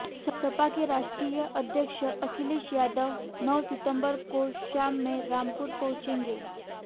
सपा के राष्ट्रीय अध्यक्ष अखिलेश यादव नौ सितंबर को शाम में रामपुर पहुंचेंगे